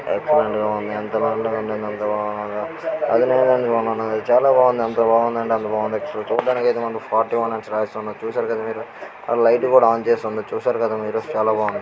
excellent ఉంది చాల బాగుంది ఎంత బాగుంది అంటే అంట బాగుంది చుడానికి ఐతే ఫోర్టుయోనే అని రాసి ఉంది చూసారు గ మీరు లీగ్జ్ట్ కూడా ఆన్ చేసి ఉంది చూసారు గ మీరు